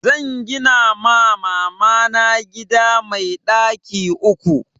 Zan gina ma mamana gida mai ɗaki uku